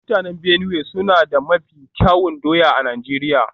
Mutanen Benue suna da mafi kyawun doya a Najeriya